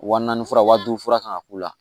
Wa naani fura wa duuru fura kan ka k'u la